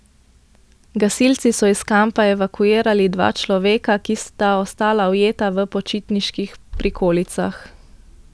Gasilci so iz kampa evakuirali dva človeka, ki sta ostala ujeta v počitniških prikolicah.